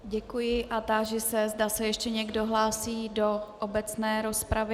Děkuji a táži se, zda se ještě někdo hlásí do obecné rozpravy.